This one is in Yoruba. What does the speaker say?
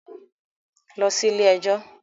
Lọ sí ilé ẹjọ́